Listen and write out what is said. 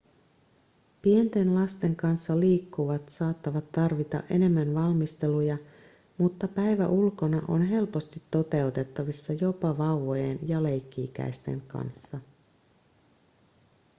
pienten lasten kanssa liikkuvat saattavat tarvita enemmän valmisteluja mutta päivä ulkona on helposti toteutettavissa jopa vauvojen ja leikki-ikäisten kanssa